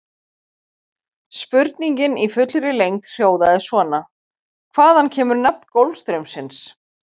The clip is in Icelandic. Spurningin í fullri lengd hljóðaði svona: Hvaðan kemur nafn Golfstraumsins?